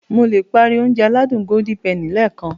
Mo le páári Ounjẹ aládùn Golden penny lẹ́ẹ̀kan